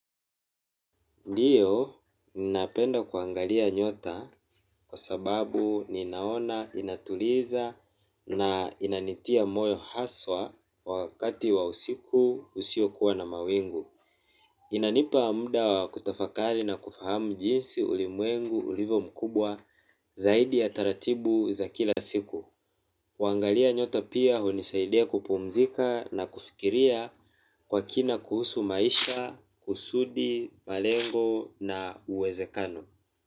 Ndiyo, ninapenda kuangalia nyota kwa sababu ninaona, inatuliza na inanitia moyo haswa wakati wa usiku usio kuwa na mawingu. Inanipa mda wa kutafakali na kufahamu jinsi ulimwengu, ulivyo mkubwa zaidi ya taratibu za kila siku. Kuangalia nyota pia hunisaidia kupumzika na kufikiria kwa kina kuhusu maisha, kusudi, malengo na uwezekano.